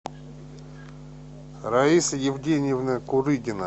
раиса евгеньевна курыгина